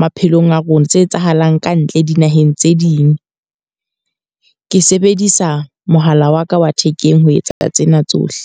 maphelong a rona, tse etsahalang kantle dinaheng tse ding. Ke sebedisa mohala wa ka wa thekeng ho etsa ka tsena tsohle.